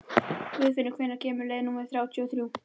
Guðfinnur, hvenær kemur leið númer þrjátíu og þrjú?